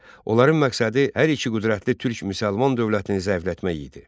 Onların məqsədi hər iki qüdrətli türk-müsəlman dövlətini zəiflətmək idi.